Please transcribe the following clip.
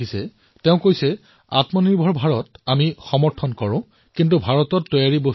এতিয়া তেওঁ প্ৰতিজ্ঞা গ্ৰহণ কৰিছে যিবোৰ সামগ্ৰী তেওঁ ব্যৱহাৰ কৰিব সেইসমূহত যাতে দেশবাসীৰ পৰিশ্ৰম আৰু ঘামৰ সুঘ্ৰাণ মিহলি হৈ থাকে